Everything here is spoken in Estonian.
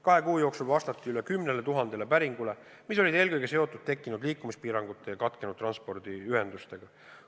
Kahe kuu jooksul vastati 10 000 päringule, mis olid eelkõige seotud tekkinud liikumispiirangute ja katkenud transpordiühendustega.